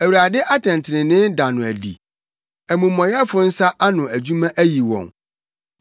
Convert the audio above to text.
Awurade atɛntrenee da no adi; amumɔyɛfo nsa ano adwuma ayi wɔn.